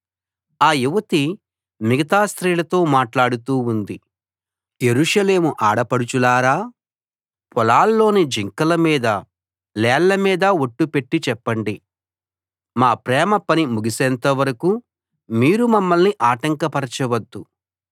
ఆ యువతి మిగతా స్త్రీలతో మాట్లాడుతూ ఉంది యెరూషలేము ఆడపడుచులారా పొలాల్లోని జింకల మీద లేళ్ల మీద ఒట్టు పెట్టి చెప్పండి మా ప్రేమ పని ముగిసేంత వరకూ మీరు మమ్మల్ని ఆటంకపరచవద్దు